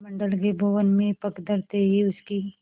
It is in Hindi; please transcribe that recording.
मंडल के भवन में पग धरते ही उसकी